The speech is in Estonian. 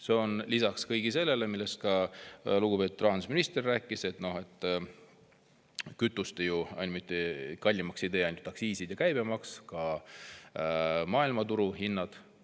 See on lisaks kõigele sellele, millest ka lugupeetud rahandusminister rääkis: kütust ei tee kallimaks ainult aktsiisid ja käibemaks, vaid ka maailmaturu hinnad.